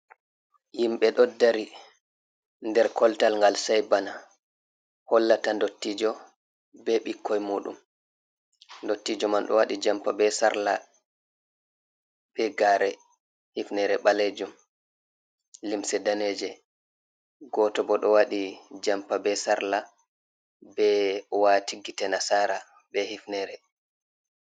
Himɓe ɗoodari der koltal gal sei bana, hollata dottijo be ɓuukkoi mudum, dottijo man ɗo waɗi jampa be sarla, be gare, hifnere ɓalejuum limse daneejee, goto bo ɗo wadi jampa be sarla, ɓe wati gite nasara be hifnere.